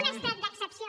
un estat d’excepció